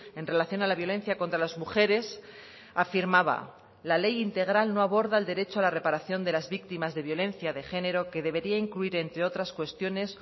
en relación a la violencia contra las mujeres afirmaba la ley integral no aborda el derecho a la reparación de las víctimas de violencia de género que debería incluir entre otras cuestiones